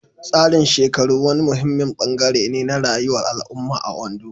Tsarin shekaru wani muhimmin ɓangare ne na rayuwar al'umma a Ondo.